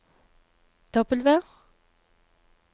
W